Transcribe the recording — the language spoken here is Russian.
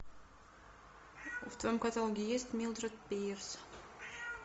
в твоем каталоге есть милдред пирс